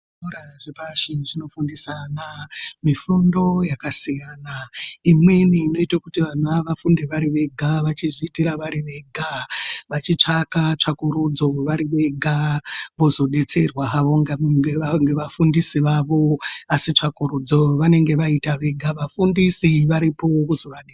Zvikora zvepashi zvinofundisa ana mifundo yakasiyana imweni unoita kuti vana vafunde vari Vega vachizviitira vari Vega vachitsvaka tsvakurudzo vari vega vozodetserwa havo ngevafundisi vavo asi tsvakurudzo vanenge vaita vega vafundisi varipo kuzovadetsera.